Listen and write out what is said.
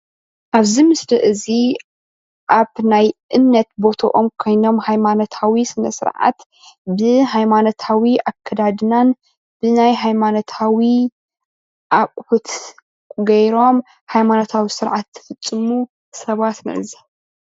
ኣብዚ ምስሊ እዚ ኣብ ናይ እምነት ቦትኦም ኮይኖም ሃይማኖታዊ ስነ ስርዓት ብሃይማኖታዊ ኣከዳድናን ብናይ ሃይማኖታዊ ኣቅሑት ጌሮም ሃይማኖታዊ ስርዓት እንትፍፅሙ ሰባት ንዕዘብ፡፡